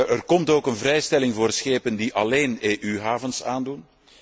Er komt ook een vrijstelling voor schepen die alleen EU havens aandoen.